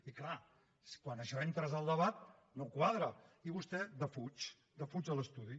i és clar quan això ho entres al debat no quadra i vostè defuig defuig l’estudi